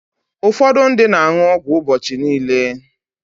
Ụfọdụ ndị na-aṅụ ọgwụ ụbọchị niile.